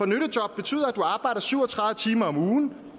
nyttejob betyder at du arbejder syv og tredive timer om ugen